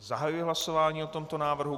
Zahajuji hlasování o tomto návrhu.